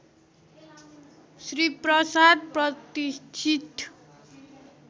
श्री प्रसाद प्रतिष्ठित